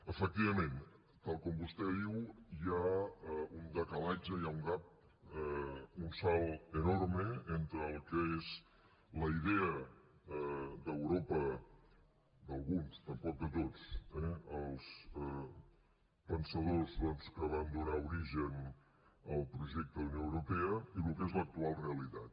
efectivament tal com vostè diu hi ha un decalatge hi ha un gap un salt enorme entre el que és la idea d’europa d’alguns tampoc de tots eh dels pensadors doncs que van donar origen al projecte d’unió europea i el que és l’actual realitat